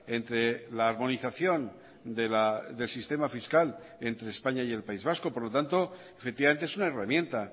entre la harmonización del sistema fiscal entre españa y el país vasco por lo tanto efectivamente es una herramienta